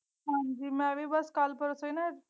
ਹਾਂਜੀ ਮੈਂ ਵੀ ਬਸ ਕਲ ਪਰਸੋ ਹੀ ਨਾ।